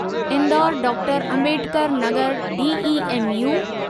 Indore doctor Ambedkar Nagar DEMU